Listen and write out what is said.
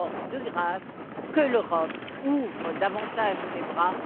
De grâce, que l'Europe ouvre davantage les bras!